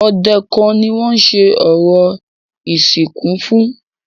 Ọdẹ kan ni wọ́n ṣe orò ìsìnkú fún.